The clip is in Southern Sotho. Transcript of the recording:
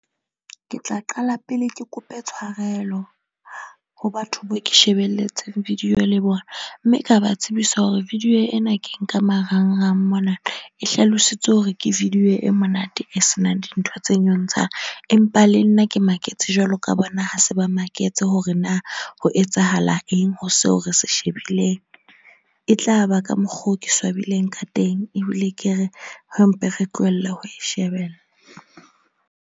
Ke tla qala pele ke kope tshwarelo ho batho bao ke shebelletseng video le bona. Mme ka ba tsebisa hore video ena ke nka marang-rang mona e hlalositswe hore ke video e monate e senang dintho tse nyontshang. Empa le nna ke maketse jwalo ka bona, ha se ba maketse hore na ho etsahala eng ho seo re se shebileng. E tla ba ka mokgo, ke swabile ka teng ebile ke re ha mpe re tlohelle ho e shebella.